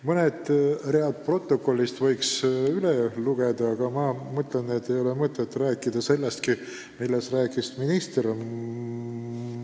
Mõned read protokollist võiks ette lugeda, aga ma mõtlen, et ei ole mõtet korrata seda, millest minister juba rääkis.